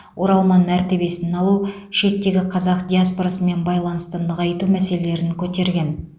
оралман мәртебесін алу шеттегі қазақ диаспорасымен байланысты нығайту мәселелерін көтерген